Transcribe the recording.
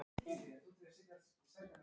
Íma, spilaðu tónlist.